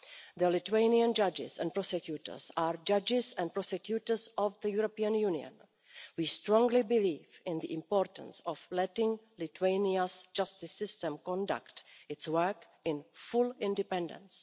The Lithuanian judges and prosecutors are judges and prosecutors of the European Union. We strongly believe in the importance of letting Lithuania's justice system conduct its work in full independence.